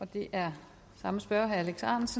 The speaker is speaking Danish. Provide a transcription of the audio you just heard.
der er